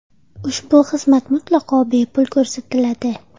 Ushbu xizmat mutlaqo bepul ko‘rsatiladi.